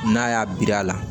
N'a y'a biri a la